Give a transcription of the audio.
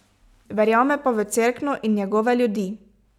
Verjame pa v Cerkno in njegove ljudi.